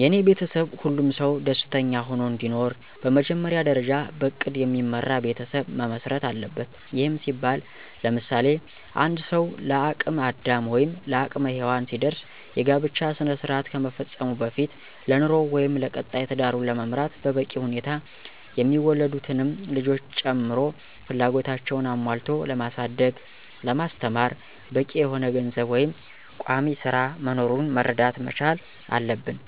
የኔ ቤተሰብ ሁሉም ሰው ደስተኛ ሆኖ እንዲኖር በመጀመሪያ ደርጃ በእቅድ የሚመራ ቤተሰብ መመስረት አለበት። ይህም ሲባል ለምሳሌ፦ አንድ ሰው ለአቅም አዳም ወይም ለአቅመ ሄዎን ሲደርስ የጋብቻ ስነስራአት ከመፈፀሙ በፊት ለኑሮው ወይም ለቀጣይ ትዳሩን ለመምራት በበቂ ሁኔታ የሚወለዱትንም ልጆች ጨምሮ ፍላጎታቸውን አሞልቶ ለማሳደግ ለማስተማር በቂ የሆነ ገንዘብ ወይም ቋሚስራ መኖሩን መረዳት መቻል አለብን